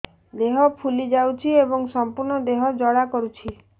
ଦେହ ଫୁଲି ଯାଉଛି ଏବଂ ସମ୍ପୂର୍ଣ୍ଣ ଦେହ ଜ୍ୱାଳା କରୁଛି